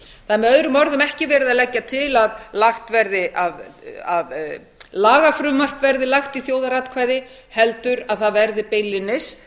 það er með öðrum orðum ekki verið að leggja til að lagafrumvarp verði lagt í þjóðaratkvæði heldur að það verði beinlínis